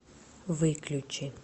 выключи